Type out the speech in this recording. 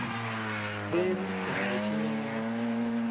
xela kana u tshinyala ha